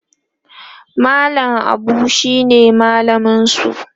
mallam Abu shine mallaminsu